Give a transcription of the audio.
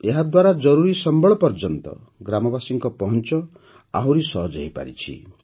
ଏହାଦ୍ୱାରା ଜରୁରୀ ସମ୍ବଳ ପର୍ଯ୍ୟନ୍ତ ଗ୍ରାମବାସୀଙ୍କ ପହଞ୍ଚ ଆହୁରି ସହଜ ହୋଇପାରିଛି